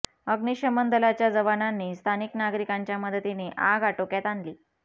अग्निशमन दलाच्या जवानांनी स्थानिक नागरिकांच्या मदतीने आग आटोक्यात आणली